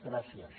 gràcies